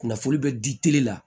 Kunnafoni bɛ di tele la